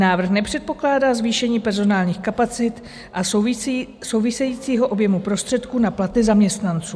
Návrh nepředpokládá zvýšení personálních kapacit a souvisejícího objemu prostředků na platy zaměstnanců.